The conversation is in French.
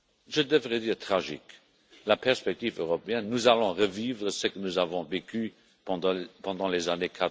je devrais dire tragique la perspective européenne, nous allons revivre ce que nous avons vécu pendant les années